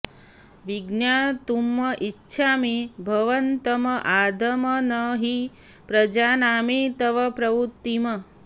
विज्ञातुम् इच्छामि भवन्तम् आद्यम् न हि प्रजानामि तव प्रवृत्तिम्